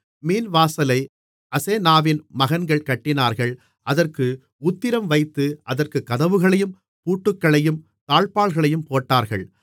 மீன்வாசலை அசெனாவின் மகன்கள் கட்டினார்கள் அதற்கு உத்திரம் வைத்து அதற்குக் கதவுகளையும் பூட்டுக்களையும் தாழ்ப்பாள்களையும் போட்டார்கள்